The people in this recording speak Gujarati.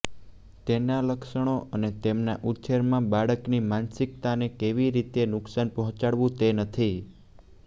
તેના લક્ષણો અને તેમના ઉછેરમાં બાળકની માનસિકતાને કેવી રીતે નુકસાન પહોંચાડવું તે નથી